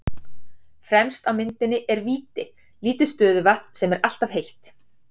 Fremst á myndinni er Víti, lítið stöðuvatn sem er alltaf heitt.